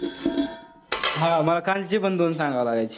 हा मला कालचे पण दोन सांगावे लागायचे.